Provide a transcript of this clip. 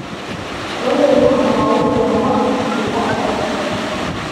olly waxay qaadan doontaa uber nus saac gudahood